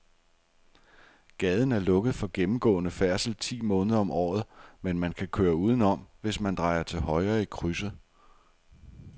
Gaden er lukket for gennemgående færdsel ti måneder om året, men man kan køre udenom, hvis man drejer til højre i krydset.